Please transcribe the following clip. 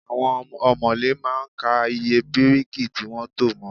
Àwon òmòlé má a n ka iye bíríkì tí wón to mo